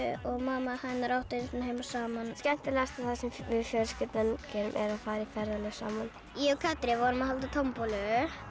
og mamma hennar áttu einu sinni heima saman skemmtilegasta sem við fjölskyldan gerum er að fara í ferðalag saman ég og Katrín vorum að halda tombólu